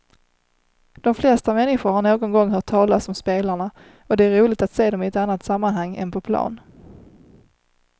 De flesta människor har någon gång hört talas om spelarna och det är roligt att se dem i ett annat sammanhang än på plan.